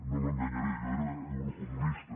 no l’enganyaré jo era eurocomunista